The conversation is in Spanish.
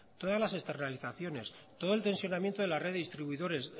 todas las externalizaciones todo el tensionamiento de la red distribuidores